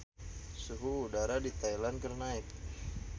Suhu udara di Thailand keur naek